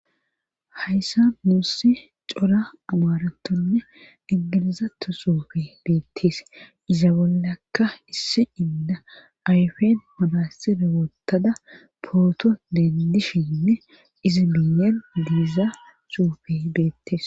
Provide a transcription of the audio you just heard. Hayssa muussi cora amaratonne ingilizato suufe beettees iza bollakka isse inda ayfen mabasira wotada pooto dendishinne izi buyen diiza suufe beettees